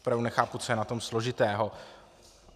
Opravdu nechápu, co je na tom složitého.